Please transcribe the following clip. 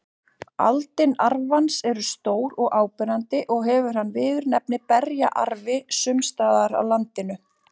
Aldin arfans eru stór og áberandi og hefur hann viðurnefnið berjaarfi sums staðar á landinu.